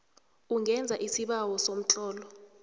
ungenza isibawo somtlolo